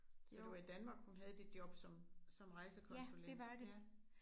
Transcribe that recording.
Ja det var i Danmark hun havde det job som som rejsekonsulent ja